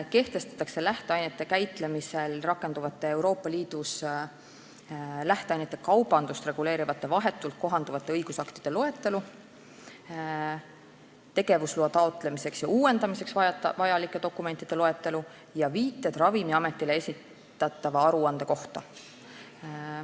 Kehtestatakse lähteainete käitlemisel rakenduvate Euroopa Liidus lähteainete kaubandust reguleerivate vahetult kohalduvate õigusaktide loetelu, tegevusloa taotlemiseks ja uuendamiseks vajalike dokumentide loetelu ning viited Ravimiametile esitatava aruande kohta.